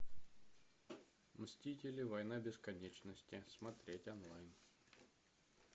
мстители война бесконечности смотреть онлайн